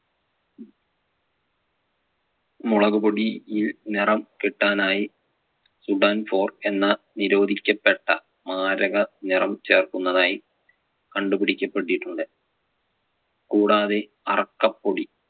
മുളകുപൊടിയിൽ നിറം കിട്ടാനായി sudan four എന്ന നിരോധിക്കപ്പെട്ട മാരക നിറം ചേർക്കുന്നതായി കണ്ടുപിടിക്കപ്പെട്ടിട്ടുണ്ട്. കൂടാതെ അറക്കപ്പൊടി